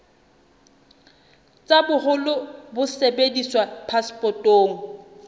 tsa boholo bo sebediswang phasepotong